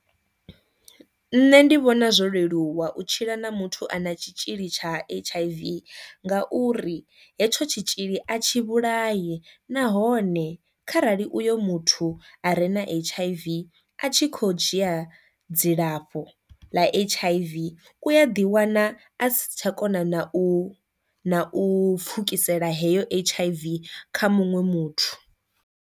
Nṋe ndi vhona zwo leluwa u tshila na muthu a na tshitzhili tsha H_I_V ngauri hetsho tshitzhili a tshi vhulai nahone kharali uyo muthu a re na H_I_V a tshi kho dzhia dzilafho ḽa H_I_V u a ḓi wana a si tsha kona na u na u pfukisela heyo H_I_V kha muṅwe muthu.